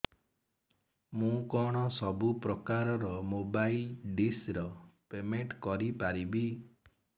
ମୁ କଣ ସବୁ ପ୍ରକାର ର ମୋବାଇଲ୍ ଡିସ୍ ର ପେମେଣ୍ଟ କରି ପାରିବି